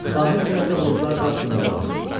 Sahil tərəfdə buludlar dağ kimi ucalırdı.